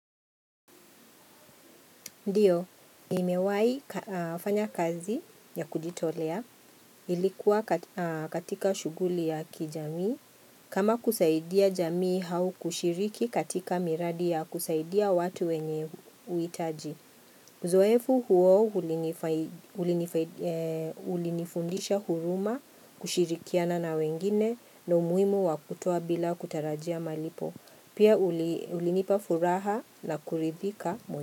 Ndiyo, nimewai fanya kazi ya kujitolea, ilikuwa katika shughuli ya kijamii, kama kusaidia jamii hau kushiriki katika miradi ya kusaidia watu wenye uitaji. Uzoefu huo ulinifundisha huruma, kushirikiana na wengine na umuimu wa kutoa bila kutarajia malipo. Pia ulinipa furaha na kuridhika.